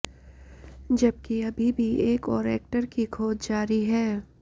जबकि अभी भी एक और एक्टर की खोज जारी है